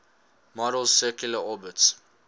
model's circular orbits